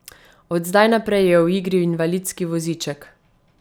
Od zdaj naprej je v igri invalidski voziček.